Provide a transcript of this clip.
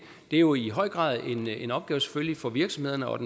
er jo i høj grad en opgave selvfølgelig for virksomhederne og